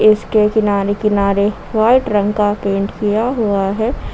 इसके किनारे किनारे वाइट रंग का पेंट किया हुआ है।